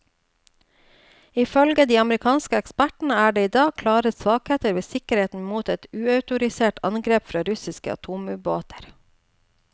Ifølge de amerikanske ekspertene er det i dag klare svakheter ved sikkerheten mot et uautorisert angrep fra russiske atomubåter.